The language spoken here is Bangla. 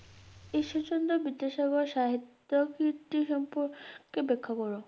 ইশ্বরচন্দ্র বিদ্যাসাগর সাহিত্য কীর্তি সম্পর্কে ব্যাখ্যা কর।